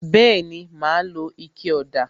Bẹẹni, ma lo ike ọ̀dà